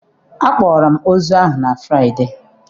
Akpọrọ m ozu ahụ na Fraịde.